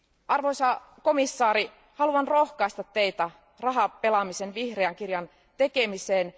Arvoisa komission jäsen, haluan rohkaista Teitä rahapelaamisen vihreän kirjan tekemiseen.